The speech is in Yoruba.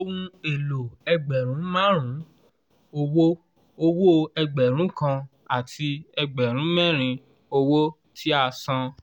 ohùn èlò ẹgbẹ̀rún márùn-ún owó owó ẹgbẹ̀rún kan àti ẹgbẹ̀rún mẹ́rin owó tí a san